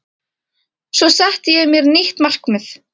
Svo setti ég mér nýtt markmið